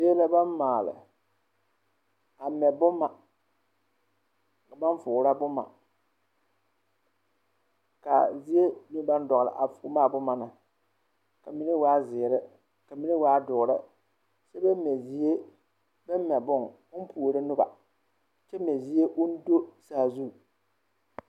Zie la bam maale a mɛ boma baŋ foorɔ boma ka a zie ne baŋ dɔɡele a foorɔ a boma na ka mine waa ziiri ka mine waa doɔre kyɛ baŋ mɛ zie bam mɛ bon ka o puoro noba kyɛ mɛ zie o do saazu.